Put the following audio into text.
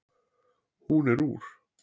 Hún er úr